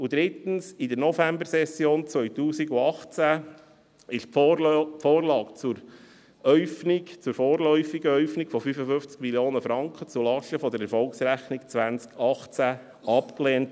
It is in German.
Drittens wurde in der Novembersession 2018 die Vorlage zur vorläufigen Äufnung von 55 Mio. Franken zulasten der Erfolgsrechnung 2018 abgelehnt.